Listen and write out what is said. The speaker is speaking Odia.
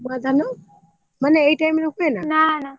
ନୂଆ ଧାନ ମନେ ଏଇ time ରେ ହୁଏନା ନା ନା।